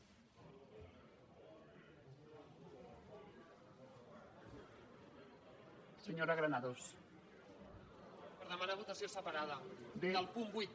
per demanar votació separada del punt vuit